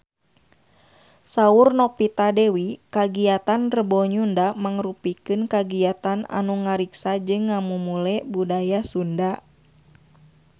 Saur Novita Dewi kagiatan Rebo Nyunda mangrupikeun kagiatan anu ngariksa jeung ngamumule budaya Sunda